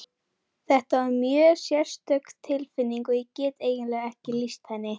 Þetta er mjög sérstök tilfinning og ég get eiginlega ekki lýst henni.